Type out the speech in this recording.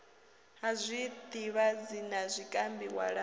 ha zwidzivhadzi na zwikambi walani